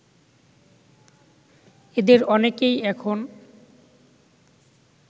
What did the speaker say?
এদের অনেকেই এখন